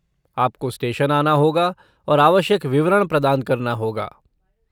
आपको स्टेशन आना होगा और आवश्यक विवरण प्रदान करना होगा।